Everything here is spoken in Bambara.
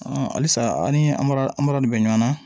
halisa an' ni an bɔra an bɔra de bɛ ɲɔgɔn na